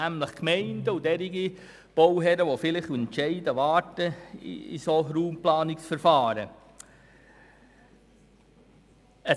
Das wären nämlich die Gemeinden und Bauherren, welche Entscheidungen in Raumplanungsverfahren abwarten.